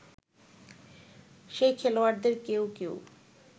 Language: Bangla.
সেই খেলোয়াড়দের কেউ কেউ